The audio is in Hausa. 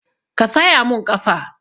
Ka saya mun ƙafa!